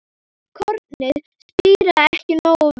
Kornið spíraði ekki nógu vel.